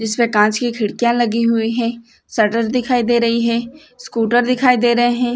जिसमे कांच की खिड़किया लगी हुई है। शटर दिखाई दे रही है स्कूटर दिखाई दे रहे है।